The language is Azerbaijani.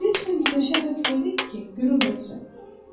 Lütfən günəşə hökm edin ki, qürub etsin.